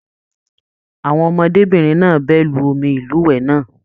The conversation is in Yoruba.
Àwọn ọmọdébinrin náà bẹ lù omi ilúwẹ náà.